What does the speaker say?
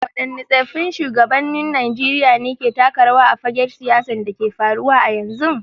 Waɗanne tsaffin shugabannin Najeriya ke taka rawa a fagen siyasar da ke faruwa a yanzu.